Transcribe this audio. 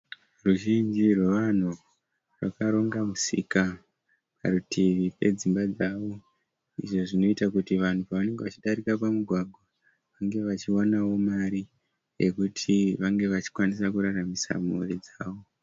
Ruzhinji rwevanhu rakaronga musika. Parutivi pedzimba dzavo. Izvo Zvinoita kuti vanhu pavanenge vachidarika pamugwagwa vange vachionawo mari yekuti vange vachikwanisa kuraramisa mhuri dzavo.